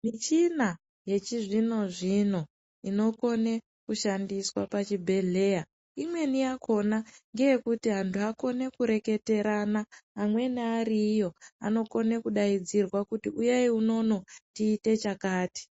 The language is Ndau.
Michina yechizvino-zvino inokone kushandiswa pachibhedhleya, imweni yakhona ngeyekuti antu akone kureketerana. Amweni ari iyo, anokone kudaidzirwa kuti, uyai unono tiite chakati.